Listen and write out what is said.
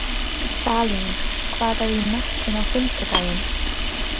Salín, hvað er í matinn á fimmtudaginn?